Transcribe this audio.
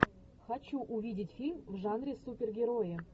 хочу увидеть фильм в жанре супергерои